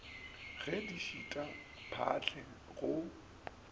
ge di šita phaahle go